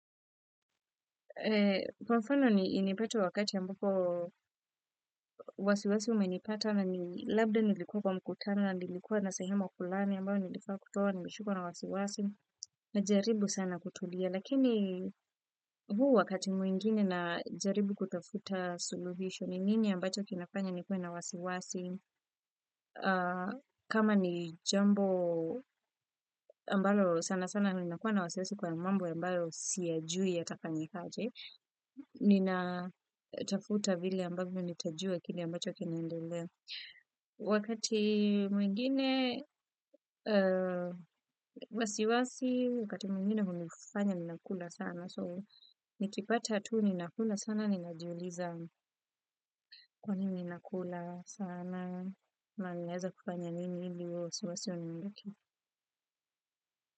Kwa mfano inipate wakati ambapo wasiwasi umenipata na labda nilikuwa kwa mkutano na nilikuwa na sehemu fulani ambayo nilifaa kutoa nimeshikwa na wasiwasi na jaribu sana kutulia. Lakini huu wakati mwingine najaribu kutafuta suluhisho ni nini ambacho kinafanya nikuwe na wasiwasi. Kama ni jambo ambalo sana sana ninakuwa na wasiwasi kwa mambo ambayo siyajui yatafanyikaje, ninatafuta vile ambavyo nitajua kile ambacho kinaendelea. Wakati mwingine wasiwasi, wakati mwingine hunifanya ninakula sana. So nikipata tu ninakula sana, ninajiuliza kwa nini ninakula sana, na ninaeza kufanya nini ili huo, wasiwasi huniondoke.